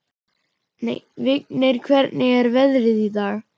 Vignir, hvernig er veðrið í dag?